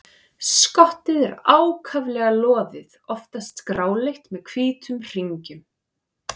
Skottið er ákaflega loðið, oftast gráleitt með hvítum hringjum.